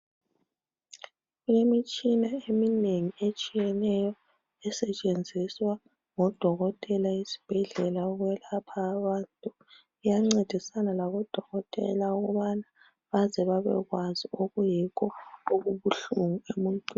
Kulemitshina eminengi etshiyeneyo esetshenziswa ngodokotela esibhedlela ukwelapha abantu. Iyancedisana labodokotela ukubana baze babekwazi okuyikho okubuhlungu emuntwini.